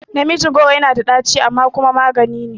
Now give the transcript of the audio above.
Namiji goro yana da ɗaci amma kuma maganine